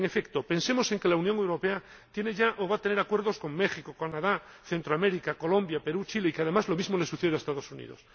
En efecto, pensemos en que la Unión Europea tiene ya o va a tener acuerdos con México, Canadá, Centroamérica, Colombia, Perú, Chile y que, además, lo mismo le sucede a los Estados Unidos.